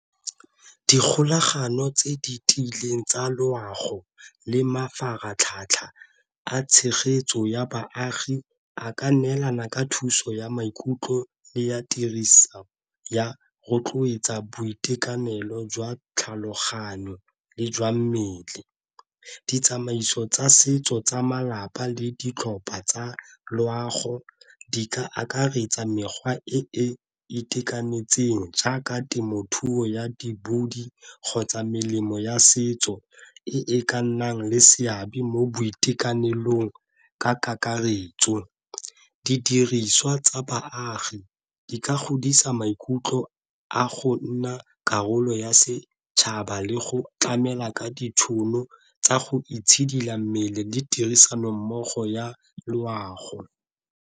Dikgolagano tse di tiileng tsa loago le mafaratlhatlha a tshegetso ya baagi a ka neelana ka thuso ya maikutlo le ya tiriso ya rotloetsa boitekanelo jwa tlhaloganyo le jwa mmele. Ditsamaiso tsa setso tsa malapa le ditlhopha tsa loago di ka akaretsa mekgwa e e itekanetseng jaaka temothuo ya di kgotsa melemo ya setso e e ka nnang le seabe mo boitekanelong ka kakaretso. Didiriswa tsa baagi di ka godisa maikutlo a go nna karolo ya setšhaba le go tlamela ka ditšhono tsa go itshidila mmele di tirisano mmogo ya loago.